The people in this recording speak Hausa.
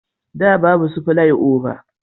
Da babu su filai oba